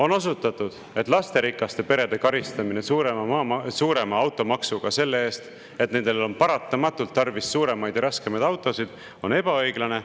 On osutatud, et lasterikaste perede karistamine suurema automaksuga selle eest, et nendel on paratamatult tarvis suuremaid ja raskemaid autosid, on ebaõiglane.